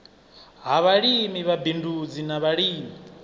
ha vhalimi vhabindudzi na vhalimi